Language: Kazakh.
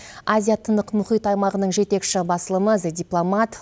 азия тынық мұхит аймағының жетекші басылымы дзе дипломат